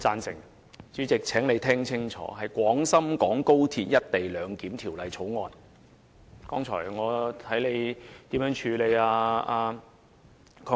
主席，請你聽清楚，是《廣深港高鐵條例草案》。